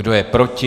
Kdo je proti?